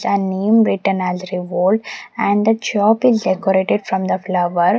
the name written as revolt and the shop is decorated from the flower.